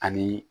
Ani